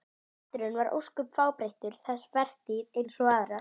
Maturinn var ósköp fábreyttur þessa vertíð eins og aðrar.